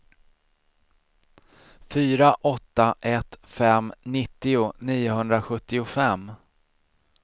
fyra åtta ett fem nittio niohundrasjuttiofem